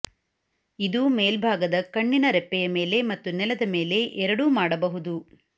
ಇದು ಮೇಲ್ಭಾಗದ ಕಣ್ಣಿನ ರೆಪ್ಪೆಯ ಮೇಲೆ ಮತ್ತು ನೆಲದ ಮೇಲೆ ಎರಡೂ ಮಾಡಬಹುದು